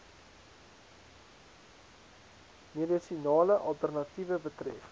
medisinale alternatiewe betref